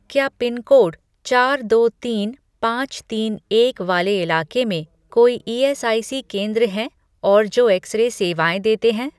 क्या पिनकोड चार दो तीन पाँच तीन एक वाले इलाके में कोई ईएसआईसी केंद्र हैं और जो एक्स रे सेवाएँ देते हैं।